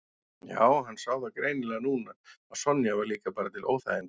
Já, hann sá það greinilega núna að Sonja var líka bara til óþæginda.